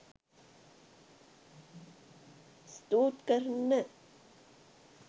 ස්තූත් කරන්න.